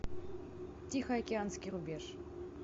тихоокеанский рубеж